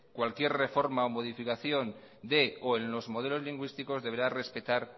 cualquier reforma o modificación de o en los modelos lingüísticos deberá respetar